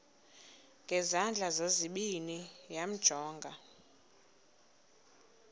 ngezandla zozibini yamjonga